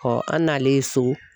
an nalen ye so